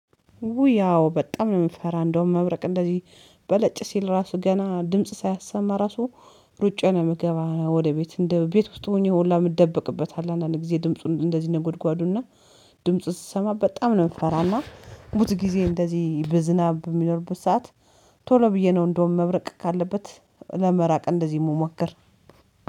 ውይ ኣዎ በጣም ነው የምፈራ እንደውም መብረቅ እንደዚህ በለጭ ሲል ራሱ ገና ድምጽ ሳያሰማ ራሱ ሩጬን መገባ ወደ ቤት እንደ ቤት ውስጥ ሆኜ ሁላ የምትደበቅበት አለ። አንዳንድ ጊዜ ድምጹን እንደዚህ ነጎድጓዱና ድምጽ ስሰማ በጣም ነው የምፈራና ቡዙ ጊዜ እንደዚህ በዝናብ በሚኖርቡት ሰዓት። ቶሎ ብዬ ነው እንደውም መብረቅ ካለበት ለመራቅ እንደዚህ ምሞክር